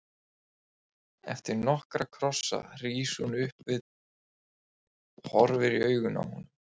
Eftir nokkra kossa rís hún upp við dogg og horfir í augu honum.